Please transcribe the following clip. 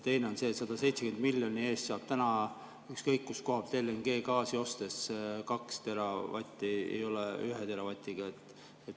Teine on see, et 170 miljoni eest saab täna ükskõik kus koha pealt LNG-gaasi ostes 2 teravatti, mitte 1 teravati.